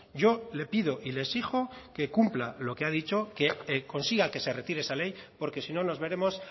yo le pido y le exijo que cumpla lo que ha dicho que consiga que se retire esa ley porque si no nos veremos